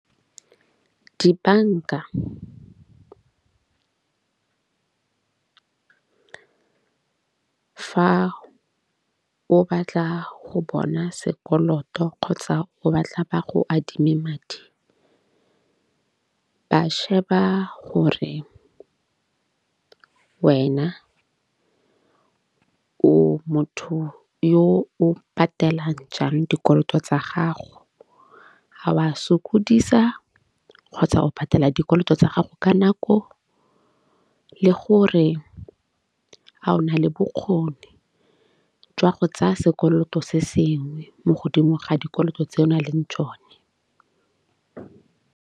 Dibanka fa o batla go bona sekoloto kgotsa o batla ba go adime madi, ba sheba gore wena o motho yo o patelang jang dikoloto tsa gago. Ga o a sokodisa kgotsa o patela dikoloto tsa gago ka nako le gore ga o na le bokgoni jwa go tsaya sekoloto se sengwe mo godimo ga dikoloto tse o na leng tsone .